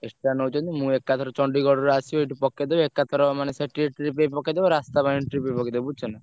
Extra ନଉଛନ୍ତି ମୁଁ ଏକଠାରୁ ଚଣ୍ଡିଗଡରୁ ଆସିବେ ଏଠୁ ପକେଇଦେବେ ଏକାଥର ମାନେ ସେଠି ଏଠି trip ପକେଇଦେବେ ରାସ୍ତା ପାଇଁ trip ପକେଇଦେବେ ବୁଝୁଛ ନାଁ।